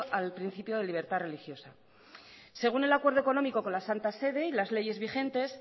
al principio de libertad religiosa según el acuerdo económico con la santa sede y las leyes vigentes